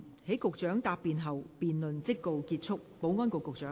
在局長答辯後，辯論即告結束。